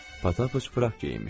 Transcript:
Pataç fıraq geyinmişdi.